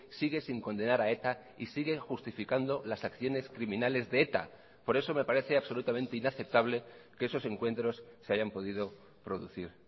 sigue sin condenar a eta y siguen justificando las acciones criminales de eta por eso me parece absolutamente inaceptable que esos encuentros se hayan podido producir